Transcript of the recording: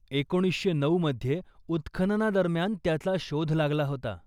एकोणीसशे नऊमध्ये उत्खननादरम्यान त्याचा शोध लागला होता.